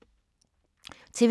TV 2